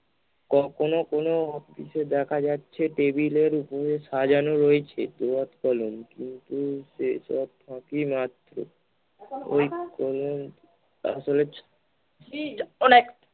ক কোন কোন কিছু দেখা যাচ্ছে টেবিলের ওপরে সাজানো রয়েছে দোয়াদ কলম কিন্তু সেসব ফাঁকি মারছে ওই কলম-কাগজ